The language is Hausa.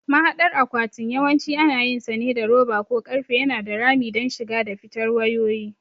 Mahadar akwatin yawanci ana yinsa ne da roba ko ƙarfe yana da rami don shiga da fitar wayoyi.